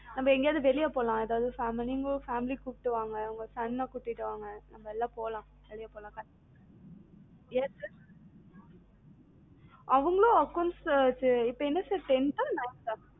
நம்ம எங்கயாது வெளில போலாம் ஏதாது பாமி நீங்க உங்க family கூப்பிட்டு வாங்க உங்க son அ கூட்டிட்டு வாங்க நம்மல்லா போலாம் வெளில போலாம். அவங்களும் accounts இப்ப என்ன sir tenth ஆ nineth ஆ